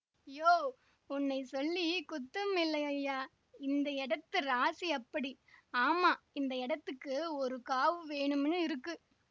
யோவ் உன்னைச் சொல்லி குத்தமில்லை ஐயாஇந்த எடத்து ராசி அப்படி ஆமா இந்த எடத்துக்கு ஒரு காவு வேணுமினு இருக்கு